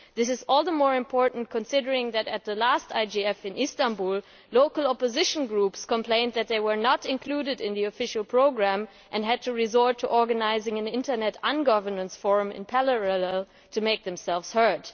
This is all the more important considering that at the last IGF in Istanbul, local opposition groups complained that they were not included in the official programme and had to resort to organising an Internet Ungovernance Forum in parallel to make themselves heard.